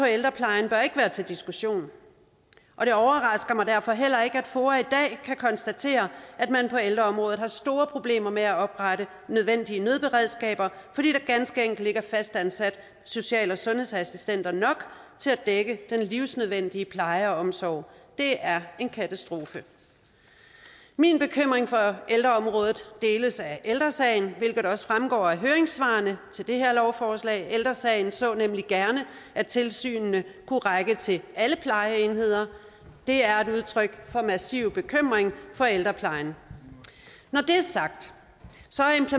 ældreplejen bør ikke være til diskussion og det overrasker mig derfor heller ikke at foa i dag kan konstatere at man på ældreområdet har store problemer med at oprette nødvendige nødberedskaber fordi der ganske enkelt ikke er fastansat social og sundhedsassistenter nok til at dække den livsnødvendige pleje og omsorg det er en katastrofe min bekymring for ældreområdet deles af ældre sagen hvilket også fremgår af høringssvarene til det her lovforslag ældre sagen så nemlig gerne at tilsynene kunne række til alle plejeenheder det er et udtryk for massiv bekymring for ældreplejen når det er sagt